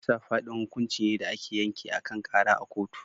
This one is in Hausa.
Kisa fadin hukunci ne da ake yanke akan Kara a kotu.